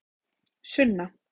Sunna